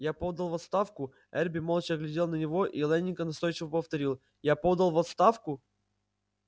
я подал в отставку эрби молча глядел на него и лэннинг настойчиво повторил я подал в отставку